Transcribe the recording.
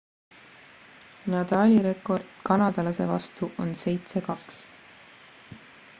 nadali rekord kanadalase vastu on 7-2